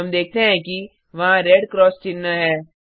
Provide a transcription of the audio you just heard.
हम देखते हैं कि वहाँ रेड क्रॉस चिन्ह है